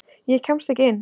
Ég kemst ekki inn.